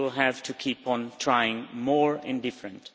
We will have to keep on trying more and different.